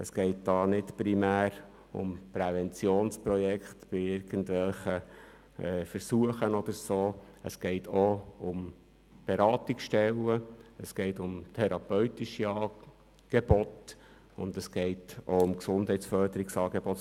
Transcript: Es geht in dieser Sache nicht primär um Präventionsprojekte bei irgendwelchen Versuchen, sondern es geht um Beratungsstellen, therapeutische Angebote und Gesundheitsförderungsangebote.